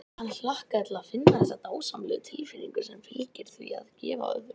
Hann hlakkaði til að finna þessa dásamlegu tilfinnigu sem fylgir því að gefa öðrum.